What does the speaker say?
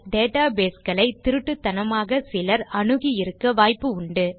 data base களை திருட்டுத்தனமாக சிலர் அணுகி இருக்க வாய்ப்புண்டு